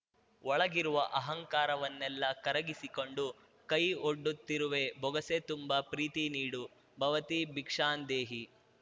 ಒಳಗಿರುವ ಅಹಂಕಾರವನ್ನೆಲ್ಲಾ ಕರಗಿಸಿಕೊಂಡು ಕೈ ಒಡ್ಡುತ್ತಿರುವೆ ಬೊಗಸೆ ತುಂಬ ಪ್ರೀತಿ ನೀಡು ಭವತಿ ಭಿಕ್ಷಾಂದೇಹಿ